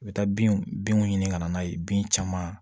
U bɛ taa bin binw ɲini ka na n'a ye bin caman